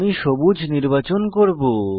আমি সবুজ নির্বাচন করব